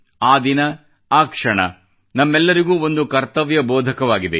ಆ ದಿನ ಆ ಕ್ಷಣ ನಮಗೆಲ್ಲರಿಗೂ ಒಂದು ಕರ್ತವ್ಯಬೋಧಕವಾಗಿದೆ